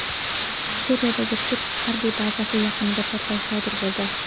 Suriyadagi turk harbiy bazasi yaqinida portlash sodir bo‘ldi.